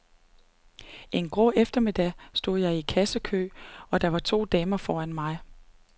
En grå eftermiddag stod jeg i en kassekø, og der var to damer foran mig.